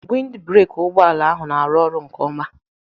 Wind breki ụgbọala ahụ n'arụ ọrụ nke ọma